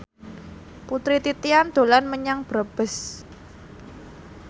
Putri Titian dolan menyang Brebes